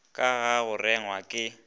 ka ga go rengwa ke